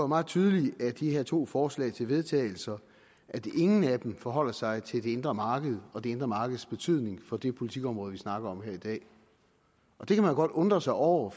meget tydeligt af de her to forslag til vedtagelse at ingen af dem forholder sig til det indre marked og det indre markeds betydning for det politikområde vi snakker om her i dag det kan man godt undre sig over